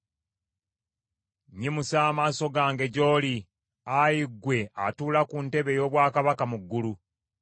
Nnyimusa amaaso gange gy’oli, Ayi ggwe atuula ku ntebe ey’obwakabaka mu ggulu.